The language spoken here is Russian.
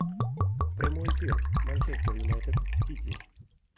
прямой эфир манчестер юнайтед сити